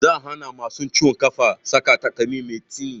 Za a hana masu ciwon ƙafa saka takalmi mai tsini